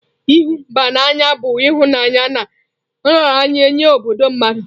Ihu mba n'anya bu ihunanya na nraranye nye obodo mmadu